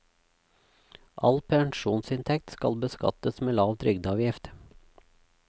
All pensjonsinntekt skal beskattes med lav trygdeavgift.